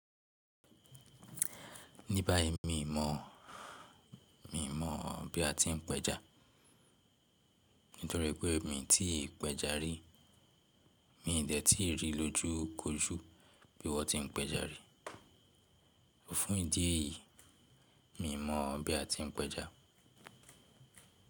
Níbàyí mi mọ̀, mi mọ̀ bí a ti ń pẹja nítorí pé mi tí pẹja rí. Mi dẹ̀ tí rí lójú k'ojú bí wọ́n ti ń pẹja rí. Fun ìdí èyí, mi mọ̀ bí a ti ń pẹja.